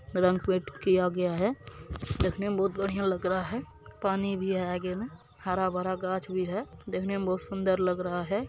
रंग पेंट किया गया है। देखने में बहुत बढ़िया लग रहा है पानी भी है आगे में हरा-भरा गाछ भी है। देखने में बहुत सुन्दर लग रहा है।